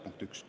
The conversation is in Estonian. Punkt 1.